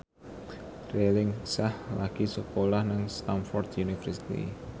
Raline Shah lagi sekolah nang Stamford University